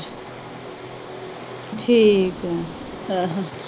ਠੀਕ ਆ